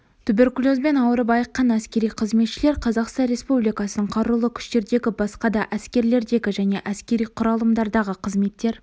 туберкулезбен ауырып айыққан әскери қызметшілер қазақстан республикасының қарулы күштердегі басқа да әскерлердегі және әскери құралымдардағы қызметтер